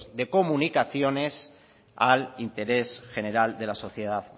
de comunicaciones al interés general de la sociedad